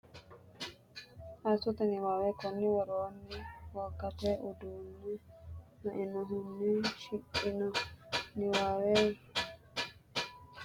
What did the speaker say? Assoote Niwaawe Konni woroonni wogate uduunne lainohunni shiqqino niwaawe rosi- isaanchi’ne Itophiyu malaatu afiinni nabbawanna’ne wodanchitine har- unse Assoote Niwaawe.